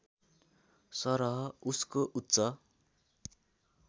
सरह उसको उच्च